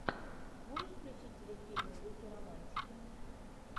можешь включить телефильмы в духе романтики